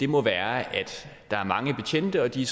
må være at der er mange betjente og at de